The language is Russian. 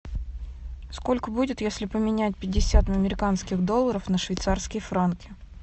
сколько будет если поменять пятьдесят американских долларов на швейцарские франки